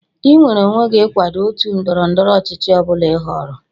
Ị nweere onwe gị ịkwado otu ndọrọ ndọrọ ọchịchị ọ bụla ị họọrọ